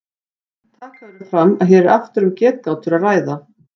Taka verður fram að hér er aftur um getgátur að ræða.